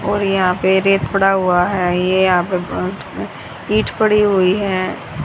और यहां पे रेत पड़ा हुआ है ये यहां पर अं अं ईट पड़ी हुई हैं।